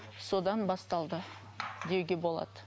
содан басталды деуге болады